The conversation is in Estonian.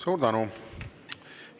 Suur tänu!